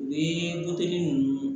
U ye ninnu